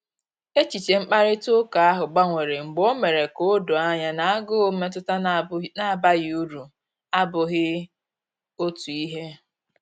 Echiche mkparịta ụka ahụ gbanwere mgbe o mere ka o doo anya na agụụ mmetụta na abaghị uru abughị otu ihe